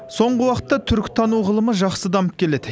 соңғы уақытта түркітану ғылымы жақсы дамып келеді